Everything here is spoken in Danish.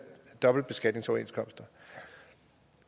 dobbeltbeskatningsoverenskomster